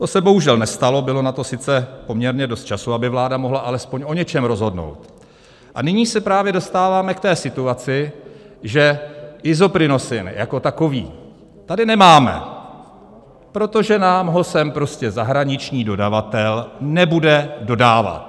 To se bohužel nestalo, bylo na to sice poměrně dost času, aby vláda mohla alespoň o něčem rozhodnout, a nyní se právě dostáváme k té situaci, že Isoprinosine jako takový tady nemáme, protože nám ho sem prostě zahraniční dodavatel nebude dodávat.